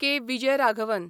K. Vijayaraghavan